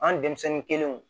An denmisɛnnin kelenw